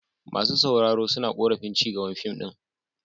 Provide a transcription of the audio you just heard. Masu sauraro suna korafin ci gaban fim din.